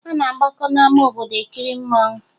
A na-agbakọ n'ama obodo ekiri mmanwụ